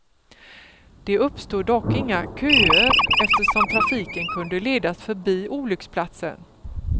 Det uppstod dock inga köer eftersom trafiken kunde ledas förbi olycksplatsen.